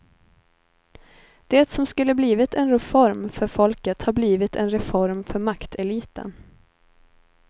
Det som skulle blivit en reform för folket har blivit en reform för makteliten.